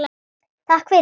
Takk fyrir, sagði mamma.